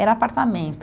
Era apartamento.